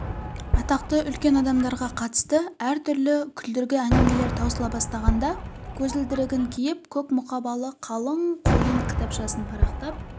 атақты үлкен адамдарға қатысты әртүрлі күлдіргі әңгімелер таусыла бастағанда көзілдірігін киңп көк мұқабалы қалың қойын кітапшасын парақтап